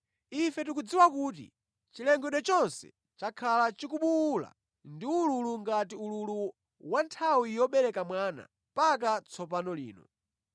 Ife tikudziwa kuti chilengedwe chonse chakhala chikubuwula ndi ululu ngati ululu wa nthawi yobereka mwana mpaka tsopano lino.